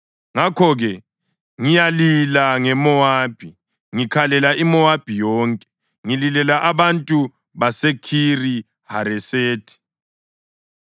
“Ngakho-ke ngiyalila ngeMowabi, ngikhalela iMowabi yonke, ngililela abantu baseKhiri-Haresethi.